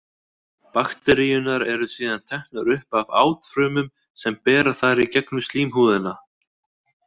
Bakteríurnar eru síðan teknar upp af átfrumum sem bera þær í gegnum slímhúðina.